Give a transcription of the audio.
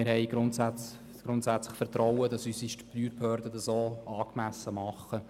Grundsätzlich haben wir Vertrauen, dass unsere Steuerbehörden das auch angemessen tun.